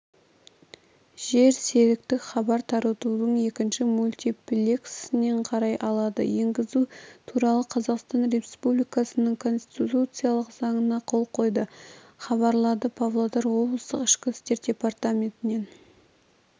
жерсеріктік хабар таратудың екінші мультиплексінен қарай алады енгізу туралы қазақстан республикасының конституциялық заңына қол қойды хабарлады павлодар облыстық ішкі істер департаменінен